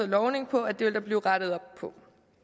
lovning på at det vil der blive rettet op på